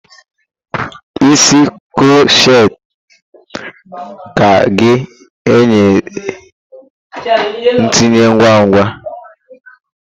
Isi kroshet ka ga-enye ntinye ngwa ngwa.